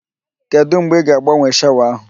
Kedụ mgbe ị ga agbanwe shawa ahụ